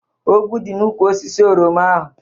Ọgwụ dị n'úkwù osisi oroma ahu